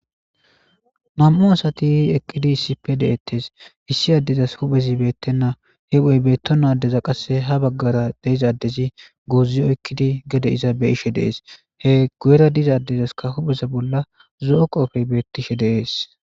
nam'u asati eqqidi issipe de7ettes issi addezas huphezi beettenna hiphoy beetto nadeza qasse ha baggara deizadezi goozi oykkidi gede iza be ishe dees he gu7era dizadezaskka hupheza bolla zo7o qoofey beettishe deees